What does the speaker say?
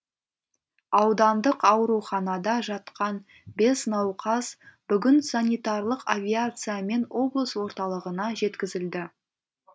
аудандық ауруханада жатқан бес науқас бүгін санитарлық авиациямен облыс орталығына жеткізілді